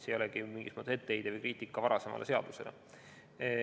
See ei ole mingi etteheide või kriitika varasema seaduse pihta.